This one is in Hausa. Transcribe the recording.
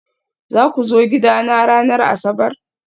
Za ku zo gidana ranar Asabar?